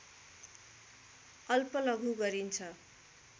अल्प लघु गरिन्छ